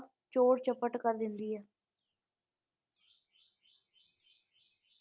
ਚੋਰ ਚਪੱਟ ਕਰ ਦਿੰਦੀ ਹੈ